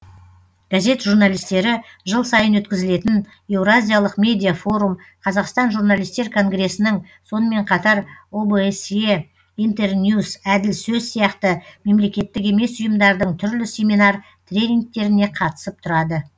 газет журналистері жыл сайын өткізілетін еуразиялық медиа форум қазақстан журналистер конгресінің сонымен қатар обсе интерньюс әділ сөз сияқты мемлекеттік емес ұйымдардың түрлі семинар тренингтеріне қатысып тұрады